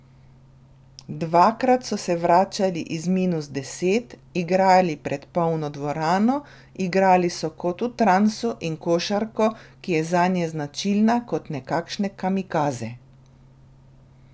Dvakrat so se vračali iz minus deset, igrali pred polno dvorano, igrali so kot v transu in košarko, ki je zanje značilna, kot nekakšne kamikaze.